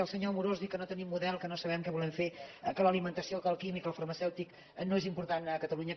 el senyor amorós diu que no tenim model que no sabem què volem fer que l’alimentació que el químic el farmacèutic no és important a catalunya